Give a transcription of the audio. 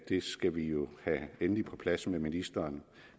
det skal vi jo have endeligt på plads med ministeren